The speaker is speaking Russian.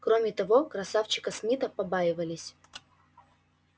кроме того красавчика смита побаивались